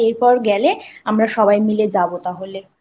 ঠিক আছে এরপরে গেলে আমরা সবাই মিলে যাবো তাহলে।